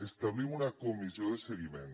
establim una comissió de seguiment